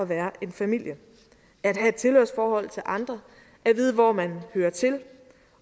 være en familie at have et tilhørsforhold til andre at vide hvor man hører til